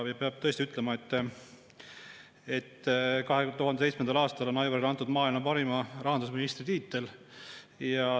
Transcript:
Peab tõesti ütlema, et 2007. aastal anti Aivarile maailma parima rahandusministri tiitel.